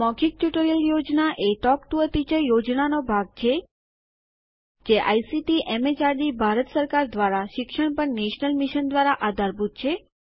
મૌખિક ટ્યુટોરીયલ યોજના એ ટોક ટુ અ ટીચર યોજનાનો ભાગ છે જે આઇસીટીએમએચઆરડીભારત સરકાર દ્વારા શિક્ષણ પર નેશનલ મિશન દ્વારા આધારભૂત છે